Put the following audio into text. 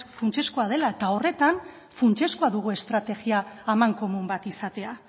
funtsezkoa dela eta horretan funtsezkoa dugu estrategia amankomun bat izatea